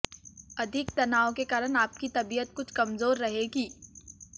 अधिक तनाव के कारण आपकी तबियत कुछ कमजोर रहेगी